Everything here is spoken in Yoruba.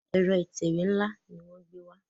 Ẹ̀rọ ìtẹ̀wé nla ní wón gbé wá.